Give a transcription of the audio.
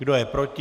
Kdo je proti?